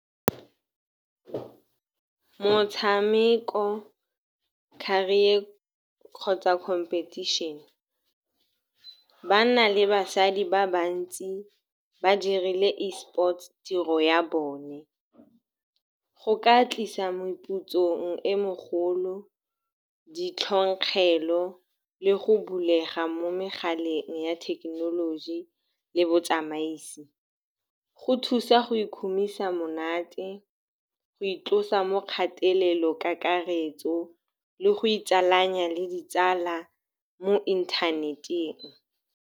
Motshameko, career kgotsa competition. Banna le basadi ba bantsi ba dirile Esports tiro ya bone. Go ka tlisa meputsong e megolo, ditlhongkgelo le go bulega mo megaleng ya thekenoloji le botsamaisi. Go thusa go ikhumisa monate, go itlosa mo kgatelelong kakaretso le go itsalanya le ditsala mo inthaneteng.